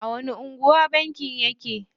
A wani anguwa bankin yake?